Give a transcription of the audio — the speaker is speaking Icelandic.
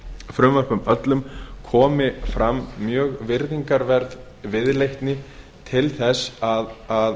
frumvörpum öllum komi fram mjög virðingarverð viðleitni til þess að